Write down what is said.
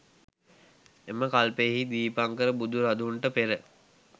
එම කල්පයෙහි දීපංකර බුදුරදුන්ට පෙර